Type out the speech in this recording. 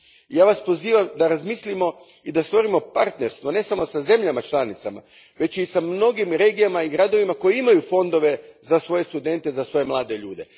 Ja vas pozivam da razmislimo i da stvorimo partnerstvo ne samo sa zemljama članicama već i s mnogim regijama i gradovima koji imaju fondove za svoje studente, za svoje mlade ljude.